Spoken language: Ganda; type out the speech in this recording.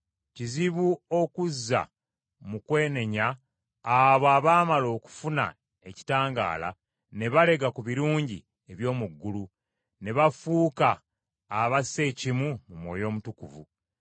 Kizibu okuzza mu kwenenya abo abaamala okufuna ekitangaala ne balega ku birungi eby’omu ggulu, ne bafuuka abassa ekimu mu Mwoyo Omutukuvu,